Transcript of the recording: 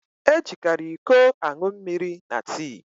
E jikari ịkọ aṅụ mmiri na tii